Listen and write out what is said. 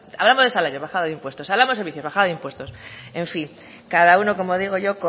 hablamos de salario bajada de impuestos hablamos de servicios bajada de impuestos en fin cada uno como digo yo